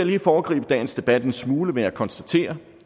lige foregribe dagens debat en smule med at konstatere